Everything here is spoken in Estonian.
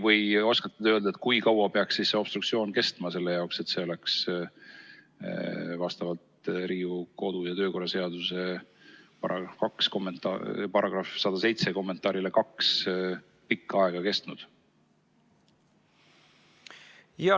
Või oskate te öelda, kui kaua peaks obstruktsioon kestma, et see oleks vastavalt Riigikogu kodu- ja töökorra seaduse § 107 kommentaarile nr 2 pikka aega kestnud?